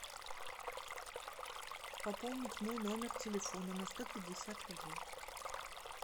пополнить мой номер телефона на сто пятьдесят рублей